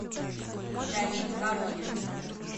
давид воронин